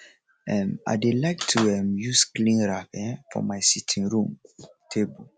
um i dey like to um use clean rag um for my sitting room table